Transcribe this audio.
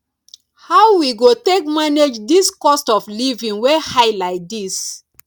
how we go take manage dis cost of living wey high like dis